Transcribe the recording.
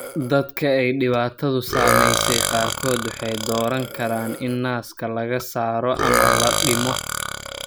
Dadka ay dhibaatadu saameysey qaarkood waxay dooran karaan in naaska laga saaro ama la dhimo.